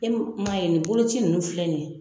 E ma ye nin boloci ninnu filɛ nin ye